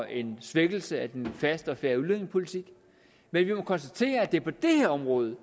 en svækkelse af den faste og fair udlændingepolitik men vi må konstatere at det er på det her område